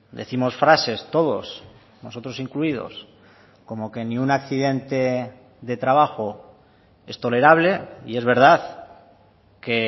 decimos frases todos nosotros incluidos como que ni un accidente de trabajo es tolerable y es verdad que